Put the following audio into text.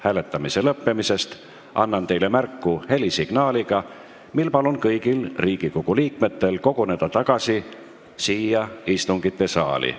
Hääletamise lõppemisest annan teile märku helisignaaliga, seejärel palun kõigil Riigikogu liikmetel uuesti koguneda siia istungisaali.